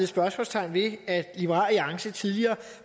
spørgsmålstegn ved at liberal alliance tidligere